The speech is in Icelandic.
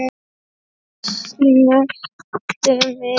Þau snertu mig.